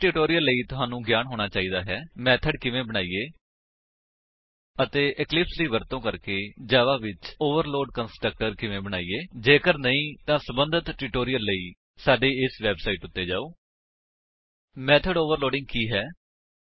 HTTP ਡਬਲਯੂਡਬਲਯੂਡਬਲਯੂਡਬਲਯੂਡਬਲਯੂਡਬਲਯੂਡਬਲਯੂਡਬਲਯੂਡਬਲਯੂਡਬਲਯੂਡਬਲਯੂਡਬਲਯੂਡਬਲਯੂਡਬਲਯੂਡਬਲਯੂਡਬਲਯੂਡਬਲਯੂਡਬਲਯੂਡਬਲਯੂਡਬਲਯੂਡਬਲਯੂਡਬਲਯੂਡਬਲਯੂਡਬਲਯੂਡਬਲਯੂਡਬਲਯੂਡਬਲਯੂਡਬਲਯੂਡਬਲਯੂਡਬਲਯੂਡਬਲਯੂਡਬਲਯੂਡਬਲਯੂਡਬਲਯੂਡਬਲਯੂਡਬਲਯੂਡਬਲਯੂਡਬਲਯੂਡਬਲਯੂਡਬਲਯੂ